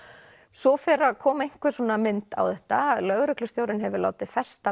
svo fer að koma einhver svona mynd á þetta lögreglustjórinn hefur látið festa